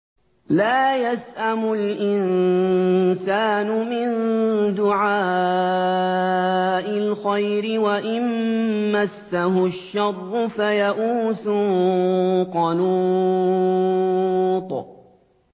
لَّا يَسْأَمُ الْإِنسَانُ مِن دُعَاءِ الْخَيْرِ وَإِن مَّسَّهُ الشَّرُّ فَيَئُوسٌ قَنُوطٌ